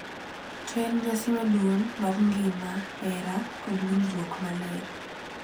To en nyasi maduong’ mar ngima, hera, kod winjruok maler .